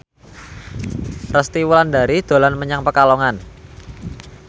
Resty Wulandari dolan menyang Pekalongan